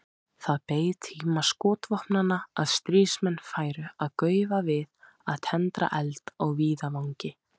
Það beið tíma skotvopnanna að stríðsmenn færu að gaufa við að tendra eld á víðavangi.